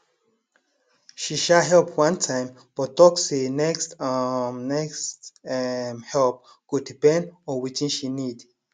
she um help one time but talk say next um next um help go depend on wetin she need